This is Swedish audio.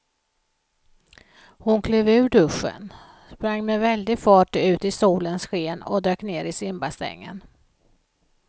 Hon klev ur duschen, sprang med väldig fart ut i solens sken och dök ner i simbassängen.